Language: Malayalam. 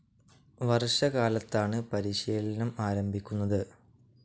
വർഷ കാലത്താണ് പരിശീലനം ആരംഭിക്കുന്നത്.